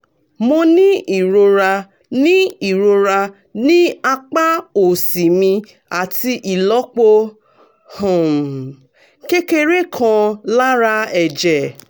mo ní ìrora ní ìrora ní apá òsì mi àti ìlọ́po um kékeré kan lára ẹ̀jẹ̀